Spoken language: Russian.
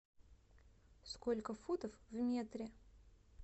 сколько футов в метре